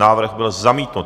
Návrh byl zamítnut.